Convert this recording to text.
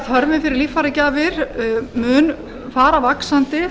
þörfin fyrir líffæragjafir mun fara vaxandi